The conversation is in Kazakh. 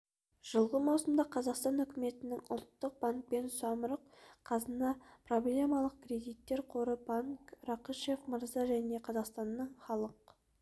жылғы маусымда қазақстан үкіметімен ұлттық банкпен самұрық-қазына проблемалық кредиттер қоры банк рақышев мырза және қазақстанның халық